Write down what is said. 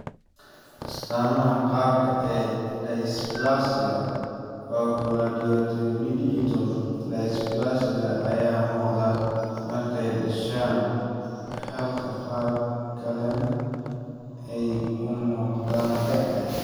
Astaamaha qaar ee dysplasia oculodentodigital dysplasia ayaa muuqda markay dhashaan, halka qaar kalena ay u muuqdaan da'da.